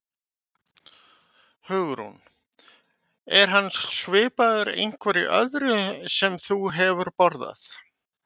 Hugrún: Er hann svipaður einhverju öðru sem þú hefur borðað?